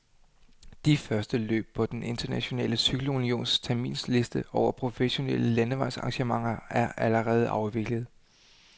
De første løb på den internationale cykelunions terminsliste over professionelle landevejsarrangementer er allerede afviklet.